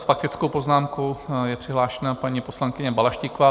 S faktickou poznámkou je přihlášena paní poslankyně Balaštíková.